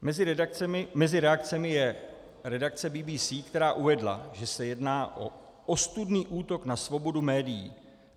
Mezi reakcemi je redakce BBC, která uvedla, že se jedná o ostudný útok na svobodu médií.